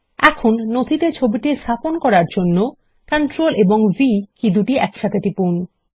এখন নথিতে ছবিটি স্থাপন করার জন্য Ctrl এবং v কী দুটি একসাথে টিপুন